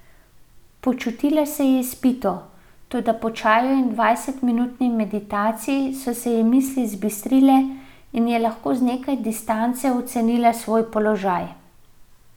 Počutila se je izpito, toda po čaju in dvajsetminutni meditaciji so se ji misli zbistrile in je lahko z nekaj distance ocenila svoj položaj.